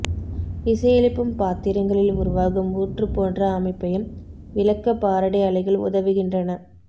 இசையெழுப்பும் பாத்திரங்களில் உருவாகும் ஊற்று போன்ற அமைப்பையும் விளக்க பாரடே அலைகள் உதவுகின்றன